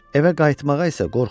Evə qayıtmağa isə qorxurdu.